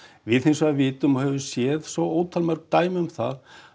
við hins vegar vitum og höfum séð svo ótal dæmi um það